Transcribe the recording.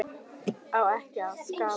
Á ekkert að skapa?